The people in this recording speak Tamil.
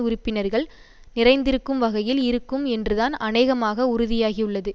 உறுப்பினர்கள் நிறைந்திருக்கும் வகையில் இருக்கும் என்றுதான் அநேகமாக உறுதியாகியுள்ளது